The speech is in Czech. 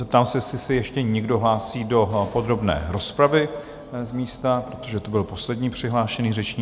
Zeptám se, jestli se ještě někdo hlásí do podrobné rozpravy z místa, protože to byl poslední přihlášený řečník?